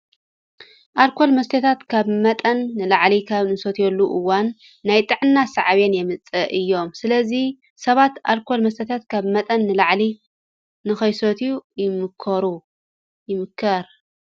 ኣልኮል መስተታት ካብ መጠን ንላዕሊ ኣብ እንሰትየሉ እዋን ናይ ጥዕና ሳዕቤን የምፅኡ እዮም። ስለዚ ሰባት ኣልኮል መስተታት ካብ መጠን ንላዕሊ ንከይሰትዩ ይምከር።